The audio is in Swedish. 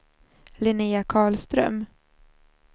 Linnea Karlström